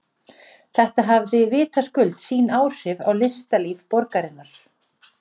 Þetta hafði vitaskuld sín áhrif á listalíf borgarinnar.